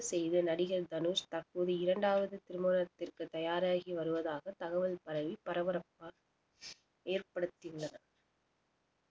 செய்த நடிகர் தனுஷ் தற்போது இரண்டாவது திருமணத்திற்க்கு தயாராகி வருவதாக தகவல் பரவி பரபரப்பாக ஏற்படுத்தியுள்ளன